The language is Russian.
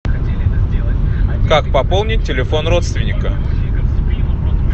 как пополнить телефон родственника